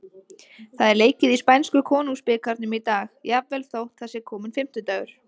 Það er leikið í spænsku Konungsbikarnum í dag, jafnvel þótt það sé kominn fimmtudagur.